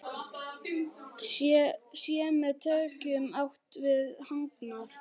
Sé með tekjum átt við hagnað?